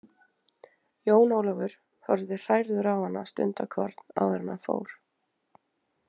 Jón Ólafur horfði hrærður á hana stundarkorn áður en hann fór.